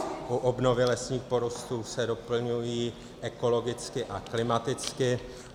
U obnovy lesních porostů se doplňují ekologicky a klimaticky.